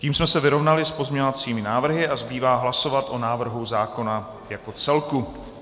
Tím jsme se vyrovnali s pozměňovacími návrhy a zbývá hlasovat o návrhu zákona jako celku.